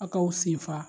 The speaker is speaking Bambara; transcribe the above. A k'aw sen fa